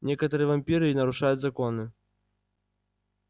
некоторые вампиры нарушают законы